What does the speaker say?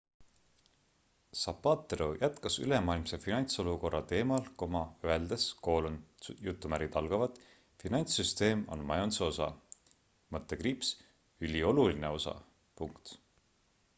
zapatero jätkas ülemaailmse finantsolukorra teemal öeldes finantssüsteem on majanduse osa ülioluline osa